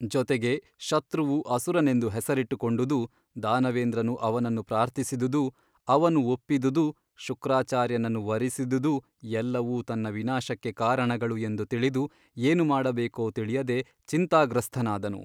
ಜೊತೆಗೆ ಶತ್ರುವು ಅಸುರನೆಂದು ಹೆಸರಿಟ್ಟು ಕೊಂಡುದೂ ದಾನವೇಂದ್ರನು ಅವನನ್ನು ಪ್ರಾರ್ಥಿಸಿದುದೂ ಅವನು ಒಪ್ಪಿದುದೂ ಶುಕ್ರಾಚಾರ್ಯನನ್ನು ವರಿಸಿದುದೂ ಎಲ್ಲವೂ ತನ್ನ ವಿನಾಶಕ್ಕೆ ಕಾರಣಗಳು ಎಂದು ತಿಳಿದು ಏನು ಮಾಡಬೇಕೋ ತಿಳಿಯದೆ ಚಿಂತಾಗ್ರಸ್ಥನಾದನು.